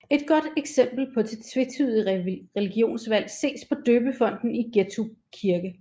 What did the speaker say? Et godt eksempel på det tvetydige religionsvalg ses på døbefonten i Gettrup Kirke